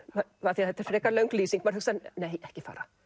af því þetta er frekar löng lýsing maður hugsar ekki fara